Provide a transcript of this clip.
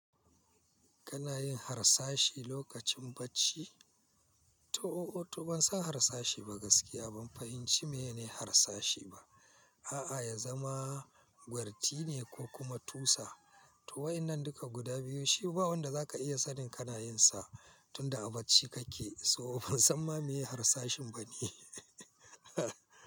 Kana yin harsashi lokacin bacci? To, oo, to ban san harsashi ba gaskiya ban fahimci me ne harsashi ba. A'a, ya zama gwarti ne ko kuma tusa, to waɗannan duka guda biyu shi ba wanda za ka iya sanin kana yin sa tunda a bacci kake, so ban san ma me harsashin bane.